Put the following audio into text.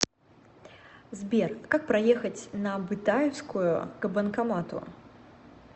сбер как проехать на бытаевскую к банкомату